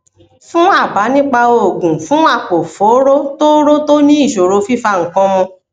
fún àbá nípa oògùn fún àpòfóró tóóró tó ní ìṣòro fífa nǹkan mu